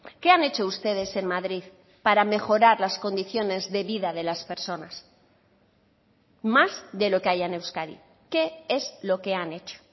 qué han hecho ustedes en madrid para mejorar las condiciones de vida de las personas más de lo que haya en euskadi qué es lo que han hecho